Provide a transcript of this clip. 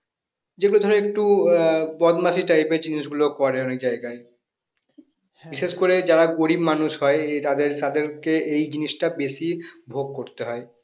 যেগুলো ধরো একটু আহ বদমাশি type এর জিনিসগুলো করে অনেক জায়গায় যারা গরিব মানুষ হয় এই তাদের তাদেরকে এই জিনিসটা বেশি ভোগ করতে হয়